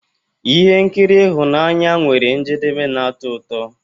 Ihe nkiri ịhụnanya nwere njedebe na-atọ ụtọ.